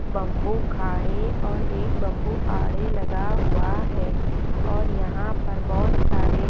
bamboo खाड़े और एक बम्बू आड़े लगा हुआ है और यहाँ पर बहुत सारे--